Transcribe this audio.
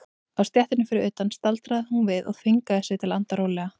Á stéttinni fyrir utan staldraði hún við og þvingaði sig til að anda rólega.